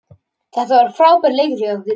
Þetta var frábær leikur hjá okkur